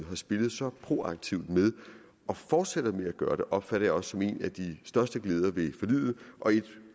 spillet så proaktivt med og fortsætter med at gøre det opfatter jeg også som en af de største glæder ved forliget og et